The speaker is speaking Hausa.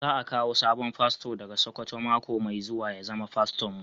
Za a kawo sabon fasto daga sokoto mako mai zuwa ya zama faston mu.